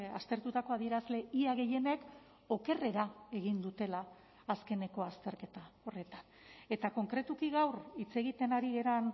aztertutako adierazle ia gehienek okerrera egin dutela azkeneko azterketa horretan eta konkretuki gaur hitz egiten ari garen